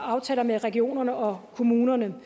aftaler med regionerne og kommunerne